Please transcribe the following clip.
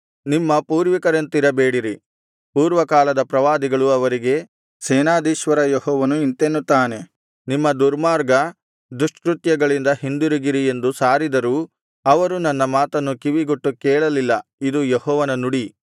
ನಿಮ್ಮ ಪೂರ್ವಿಕರಂತಿರಬೇಡಿರಿ ಪೂರ್ವಕಾಲದ ಪ್ರವಾದಿಗಳು ಅವರಿಗೆ ಸೇನಾಧೀಶ್ವರ ಯೆಹೋವನು ಇಂತೆನ್ನುತ್ತಾನೆ ನಿಮ್ಮ ದುರ್ಮಾರ್ಗ ದುಷ್ಕೃತ್ಯಗಳಿಂದ ಹಿಂದಿರುಗಿರಿ ಎಂದು ಸಾರಿದರೂ ಅವರು ನನ್ನ ಮಾತನ್ನು ಕಿವಿಗೊಟ್ಟು ಕೇಳಲಿಲ್ಲ ಇದು ಯೆಹೋವನ ನುಡಿ